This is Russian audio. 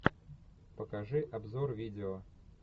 покажи обзор видео